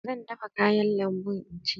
Zan dafa kayan lambu in ci.